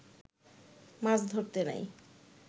মাছ ধরতে নাই